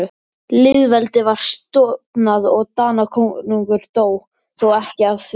Lýðveldið var stofnað og Danakonungur dó, þó ekki af því.